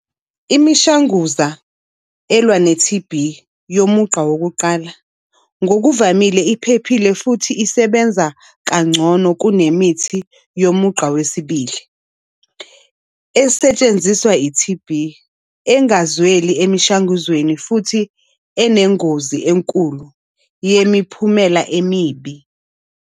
Imishanguza elwa ne-T_B yomugqa wokuqala, ngokuvamile iphephile futhi isebenza kangcono kunemithi yomugqa wesibili. Esetshenziswa i-T_B engazweli emishanguzweni, futhi enengozi enkulu yemiphumela emibi.